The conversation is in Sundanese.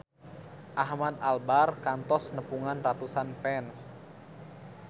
Ahmad Albar kantos nepungan ratusan fans